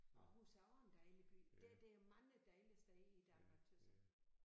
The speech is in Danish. Aarhus er også en dejlig by der der er mange dejlige steder i Danmark tys jeg